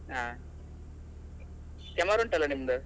ಹಾ, camera ಉಂಟಲ್ಲ ನಿಮ್ದು?